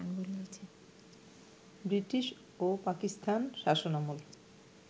British ও পাকিস্তান শাসনামল